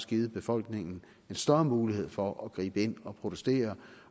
givet befolkningen en større mulighed for at gribe ind og protestere